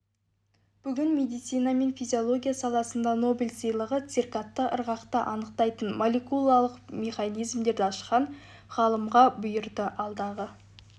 бүгін медицина мен физиология саласындағы нобель сыйлығы циркадты ырғақты анықтайтын молекулалық механизмдерді ашқан ғалымға бұйырды алдағы